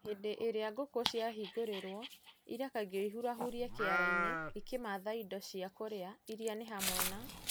Hĩndĩ ĩrĩa ngũkũ ciĩhingũrĩre, irekagwo ihurahurie kĩara-inĩ ikĩmatha indo cia kũrĩa iria nĩ hamwe na;